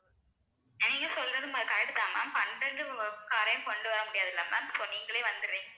நீங்க சொல்றதும் correct தான் ma'am பன்னெண்டு காரையும் கொண்டு வர முடியாதில்ல ma'am so நீங்களே வந்தர்றீங்~